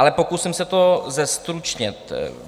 Ale pokusím se to zestručnit.